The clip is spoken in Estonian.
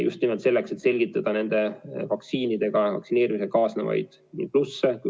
Just nimelt selleks, et selgitada vaktsiinidega, vaktsineerimisega kaasnevaid plusse.